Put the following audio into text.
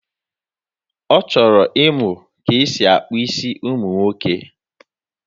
Ọ chọrọ ịmụ ka e si akpa isi ụmụ nwoke.